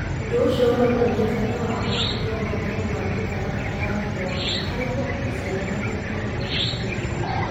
Ũndũ ũcio ũronania bata wa gũkũria ũhotani wa mĩtaratara ya gĩthomo harĩ kũruta ciana na gĩkĩro kĩrĩa kĩagĩrĩire.